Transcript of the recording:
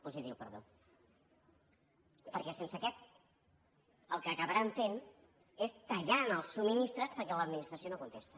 positiu perdó perquè sense aquest el que acabaran fent és tallar els subministraments perquè l’administració no contesta